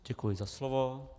Děkuji za slovo.